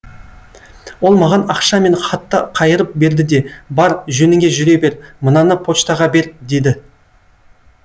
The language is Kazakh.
ол маған ақша мен хатты қайырып берді де бар жөніңе жүре бер мынаны почтаға бер деді